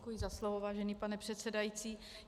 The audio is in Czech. Děkuji za slovo, vážený pane předsedající.